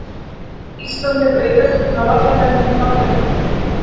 Ísland fékk aukaspyrnu á vallarhelmingi Bandaríkjanna